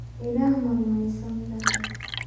Ilaah ma rumaysantahay?